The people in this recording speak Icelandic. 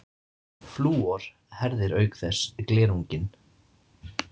Flúor herðir auk þess glerunginn.